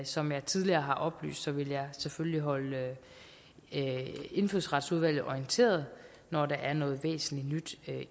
som jeg tidligere har oplyst vil jeg selvfølgelig holde indfødsretsudvalget orienteret når der er noget væsentligt nyt